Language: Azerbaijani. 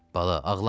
Bala, ağlama.